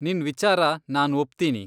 ನಿನ್ ವಿಚಾರ ನಾನ್ ಒಪ್ತೀನಿ.